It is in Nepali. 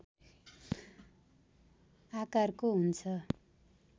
आकारको हुन्छ